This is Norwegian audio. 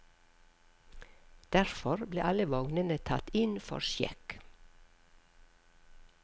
Derfor ble alle vognene tatt inn for sjekk.